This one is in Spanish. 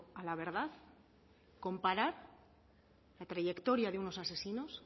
a la verdad comparar la trayectoria de unos asesinos